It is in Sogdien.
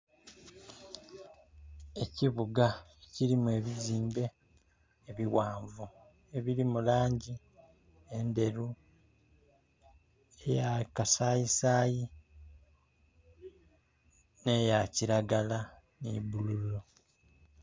Ekibuga ekilimu ebizimbe ebighanvu ebiri mu langi endheru, eya kasayisayi ne ya kilagala ni bululu.